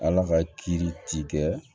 Ala ka kiiri ti kɛ